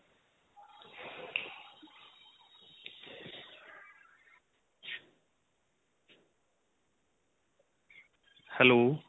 hello